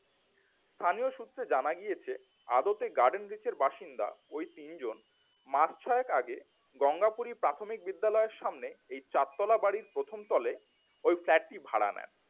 স্থানীয় সূত্রের জানা গিয়েছে আদতে গার্ডেনরিচের বাসিন্দা ওই তিনজন মাস ছয়েক আগে গঙ্গাপুরী প্রাথমিক বিদ্যালয় এর সামনে চারতলা বাড়ির প্রথম তলে ওই flat টি ভাড়া নেন।